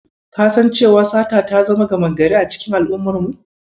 Ka san cewa sata ta zama gama gari a cikin al'ummar mu?